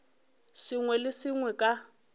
sengwe le se sengwe ka